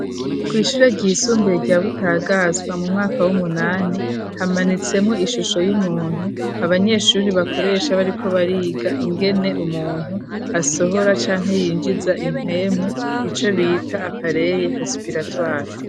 Ku ishure ryisumbuye rya Butagazwa mu mwaka w'umunani hamanitsemwo ishusho y'umuntu abanyeshuri bakoresha bariko bariga ingene umuntu asohora canke yinjiza impemu ico bita apaleye resipiratwari.